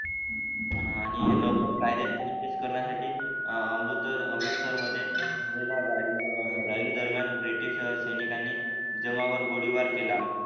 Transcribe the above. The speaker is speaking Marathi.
हा आणि अमृत अमृतसरमध्ये मिळाली रॅली दरम्यान ब्रिटिश सैनिकांनी जमावावर गोळीबार केला.